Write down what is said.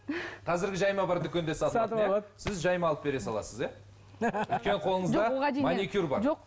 қазіргі жайма бар дүкенде сіз жайма алып бере саласыз иә